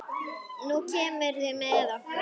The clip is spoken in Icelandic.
Nú kemurðu með okkur